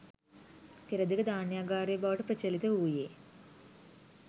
පෙරදිග ධාන්‍යාගාරය බවට ප්‍රචලිත වූයේ